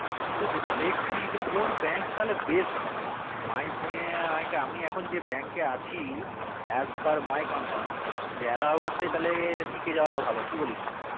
কিন্তু যেটা দেখছি কোন কোন bank তালে best হবে কি তালে কোন হবে আমি এখন যে bank কে আছি as per my concern যে এলাহাবাদে টিকে যাওয়া টা ভালো কি বলিস